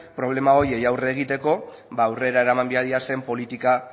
problema horiei aurre egiteko ba aurrera eraman behar diren politika